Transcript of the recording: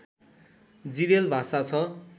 जिरेल भाषा छ